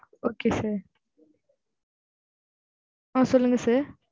okay sir ஆ சொல்லுங்க sir